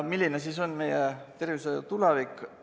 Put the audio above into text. Milline on meie tervishoiu tulevik?